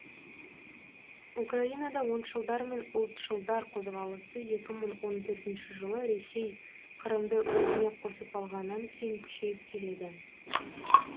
украинада оңшылдар мен ұлтшылдар қозғалысы екі мың он төртінші жылы ресей қырымды өзіне қосып алғаннан кейін күшейіп келеді